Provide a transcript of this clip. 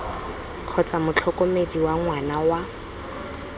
kgotsa motlhokomedi wa ngwana wa